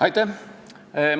Aitäh!